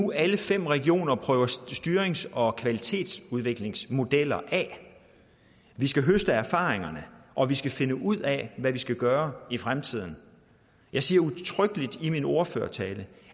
nu alle fem regioner prøver styrings og kvalitetsudviklingsmodeller af vi skal høste erfaringerne og vi skal finde ud af hvad vi skal gøre i fremtiden jeg siger udtrykkelig i min ordførertale